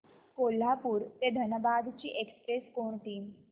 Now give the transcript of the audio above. कोल्हापूर ते धनबाद ची एक्स्प्रेस कोणती